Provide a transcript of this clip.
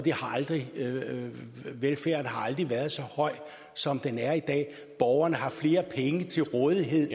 har aldrig været så høj som den er i dag borgerne har flere penge til rådighed